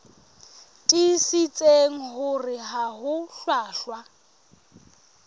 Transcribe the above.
tiisitse hore ha ho hlwahlwa